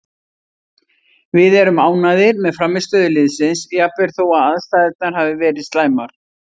Við erum ánægðir með frammistöðu liðsins jafnvel þó aðstæðurnar hafi verið slæmar,